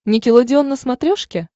никелодеон на смотрешке